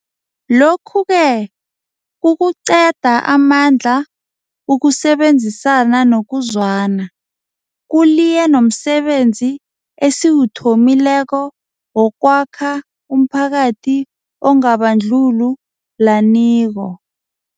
Lokhu-ke kukuqeda amandla ukusebenzisana nokuzwana, kuliye nomsebenzi esiwuthomileko wokwakha umphakathi ongabandlulu laniko.